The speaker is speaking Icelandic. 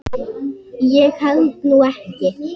Ég held nú ekki.